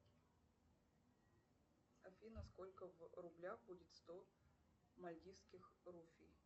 афина сколько в рублях будет сто мальдивских руфий